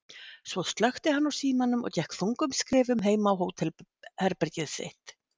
Svo slökkti hann á símanum og gekk þungum skrefum heim á hótelherbergið sitt.